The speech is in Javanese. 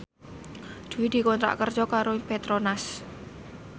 Dwi dikontrak kerja karo Petronas